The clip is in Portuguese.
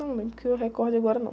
Não lembro, que eu recorde agora, não.